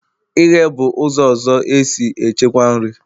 ighe bụ ụzọ ọzọ e si echekwa nri.